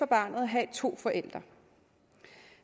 barnet at have to forældre